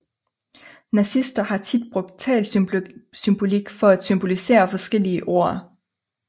Nazister har tit brugt talsymbolik for at symbolisere forskellige ord